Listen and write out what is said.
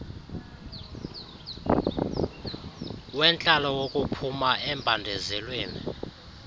wentlalo wokuphuma embandezelweni